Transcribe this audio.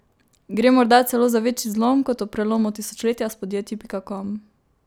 Gre morda celo za večji zlom kot ob prelomu tisočletja s podjetji pikakom?